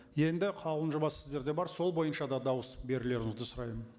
енді қаулының жобасы сіздерде бар сол бойынша да дауыс берулеріңізді сұраймын